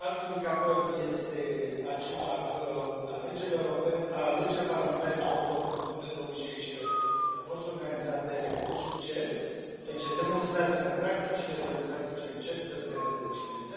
alt indicator este acela că alegerile parlamentare ce au avut loc în octombrie 2016 au fost organizate cu succes, ceea ce demonstrează că practicile democratice încep să se înrădăcineze.